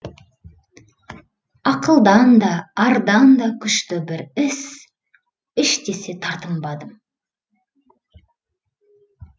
ақылдан да ардан да күшті бір іс іш десе тартынбадым